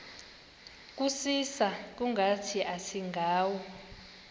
kusisa kungathi asingawo